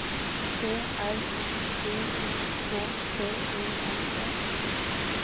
P R O D U K T E N E